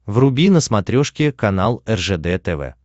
вруби на смотрешке канал ржд тв